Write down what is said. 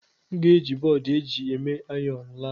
M ga-eji bọọdụ eji eme ayọn laa.